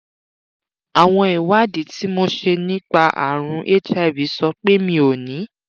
àwọn ìwádìí tí mo ṣe nípa àrùn hiv sọ pe mí o ni